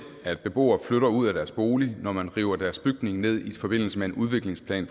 at beboere flytter ud af deres bolig når man river deres bygning ned i forbindelse med en udviklingsplan